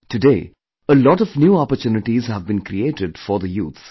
Today, a lot of new opportunities have been created for the youth